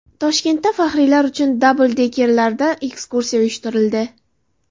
Toshkentda faxriylar uchun dabldekerlarda ekskursiya uyushtirildi.